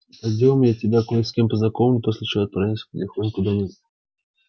пойдём я тебя кое с кем познакомлю после чего отправимся потихоньку домой